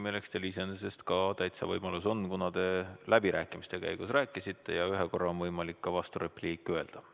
Selleks on teil iseenesest ka täitsa võimalus olemas, kuna te läbirääkimiste käigus rääkisite ja ühe korra on võimalik ka vasturepliiki öelda.